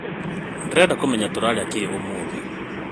Ndĩrenda kũmenya tũrarĩa kĩ ũmũthĩ?